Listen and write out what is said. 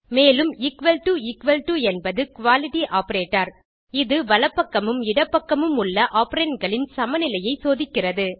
மேலும் equal to equal to என்பது equality operator160 இது வலப்பக்கமும் இடப்பக்கமும் உள்ள ஆப்பரண்ட் களின் சமநிலையை சோதிக்கிறது